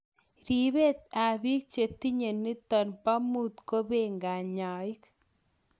Ripeet ap piik chetinye nitok poo muut kopee kanyaik .